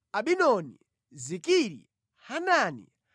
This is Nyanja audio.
Abidoni, Zikiri, Hanani,